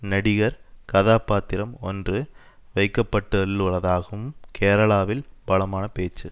நடிகர் கதாபாத்திரம் ஒன்று வைக்கப்பட்லுள்ளதாகவும் கேரளாவில் பலமான பேச்சு